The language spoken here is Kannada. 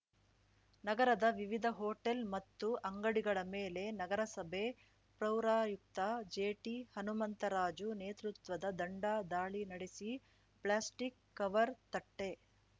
ನಗರದ ವಿವಿಧ ಹೋಟೆಲ್‌ ಮತ್ತು ಅಂಗಡಿಗಳ ಮೇಲೆ ನಗರಸಭೆ ಪೌರಾಯುಕ್ತ ಜೆಟಿಹನುಮಂತರಾಜು ನೇತೃತ್ವದ ತಂಡ ದಾಳಿ ನಡೆಸಿ ಪ್ಲಾಸ್ಟಿಕ್‌ ಕವರ್‌ ತಟ್ಟೆ